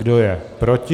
Kdo je proti?